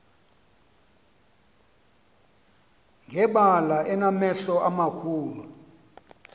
ngebala enamehlo amakhulu